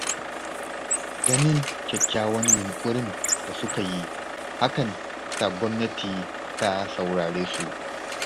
Ganin kyakkyawan yunƙurin da suka yi hakan ya sa Gwamnati ta saurare su.